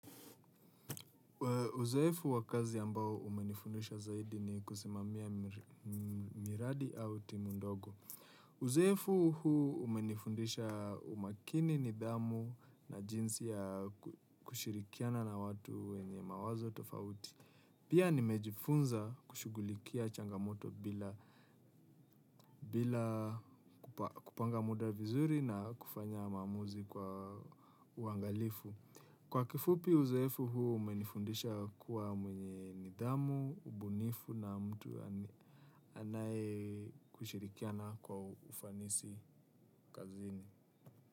Uzoefu wa kazi ambao umenifundisha zaidi ni kusimamia miradi au timu ndogo. Uzoefu huu umenifundisha umakini, nidhamu na jinsi ya kushirikiana na watu wenye mawazo tofauti. Pia nimejifunza kushughulikia changamoto bila kupanga muda vizuri na kufanya maamuzi kwa uangalifu. Kwa kifupi uzoefu huu umenifundisha kuwa mwenye nidhamu, ubunifu na mtu anaye kushirikiana kwa ufanisi kazini.